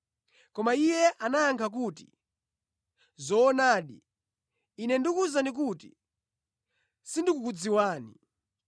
“Koma iye anayankha kuti, ‘Zoonadi, ine ndikuwuzani kuti sindikukudziwani.’